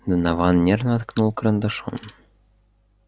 донован нервно ткнул карандашом